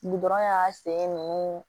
Gudɔrɔn y'a sen nunnu